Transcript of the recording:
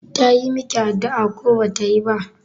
Tayi miki addu'a ko bata yi ba?